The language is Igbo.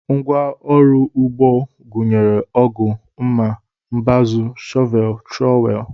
Ngwa ọrụ ugbo gụnyere ọgụ, mma, mbazụ, shọvel, trọwel